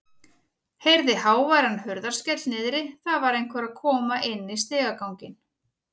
Heyrði háværan hurðarskell niðri, það var einhver að koma inn í stigaganginn.